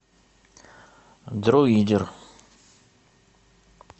дроидер